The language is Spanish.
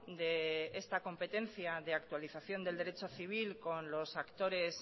de esta competencia de actualización del derecho civil con los actores